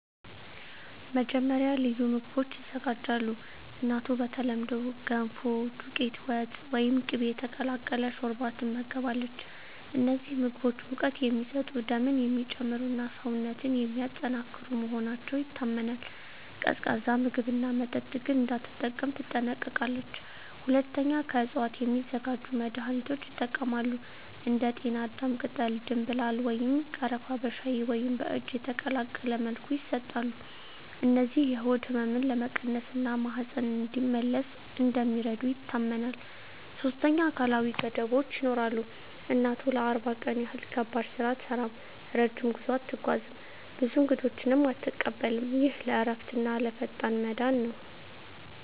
መጀመሪያ፣ ልዩ ምግቦች ይዘጋጃሉ። እናቱ በተለምዶ “ገንፎ”፣ “ዱቄት ወጥ” ወይም “ቅቤ የተቀላቀለ ሾርባ” ትመገባለች። እነዚህ ምግቦች ሙቀት የሚሰጡ፣ ደምን የሚጨምሩ እና ሰውነትን የሚያጠናክሩ መሆናቸው ይታመናል። ቀዝቃዛ ምግብና መጠጥ ግን እንዳትጠቀም ትጠነቀቃለች። ሁለተኛ፣ ከእፅዋት የሚዘጋጁ መድኃኒቶች ይጠቀማሉ። እንደ ጤናዳም ቅጠል፣ ደምብላል ወይም ቀረፋ በሻይ ወይም በእጅ የተቀቀለ መልኩ ይሰጣሉ። እነዚህ የሆድ ህመምን ለመቀነስ እና ማህፀን እንዲመለስ እንደሚረዱ ይታመናል። ሶስተኛ፣ አካላዊ ገደቦች ይኖራሉ። እናቱ ለ40 ቀን ያህል ከባድ ስራ አትሠራም፣ ረጅም ጉዞ አትጓዝም፣ ብዙ እንግዶችንም አትቀበልም። ይህ ለእረፍትና ለፈጣን መዳን ነው